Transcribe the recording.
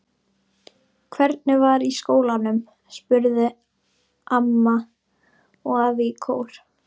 Hvernig var í skólanum? spurðu amma og afi í kór.